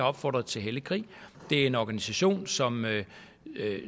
opfordret til hellig krig det er en organisation som